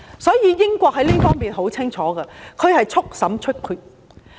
所以，英國在這方面的態度十分清楚，速審速決。